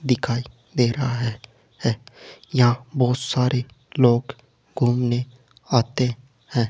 दिखाई दे रहा है यहाँ बहुत सारे लोग घूमने आते हैं।